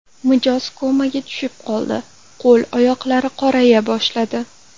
Mijoz komaga tushib qoldi, qo‘l-oyoqlari qoraya boshladi.